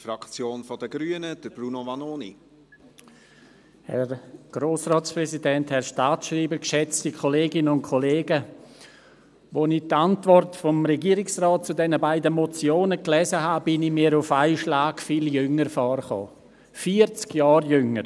Als ich die Antwort des Regierungsrates zu den beiden Motionen las, kam ich mir auf einen Schlag viel jünger vor, vierzig Jahre jünger!